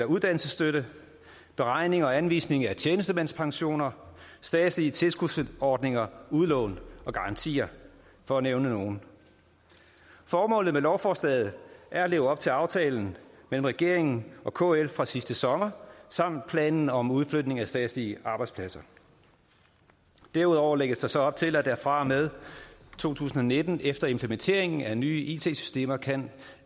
uddannelsesstøtte beregning og anvisning af tjenestemandspensioner statslige tilskudsordninger udlån og garantier for at nævne nogle formålet med lovforslaget er at leve op til aftalen mellem regeringen og kl fra sidste sommer samt planen om udflytning af statslige arbejdspladser derudover lægges der så op til at driften fra og med to tusind og nitten efter implementeringen af nye it systemer kan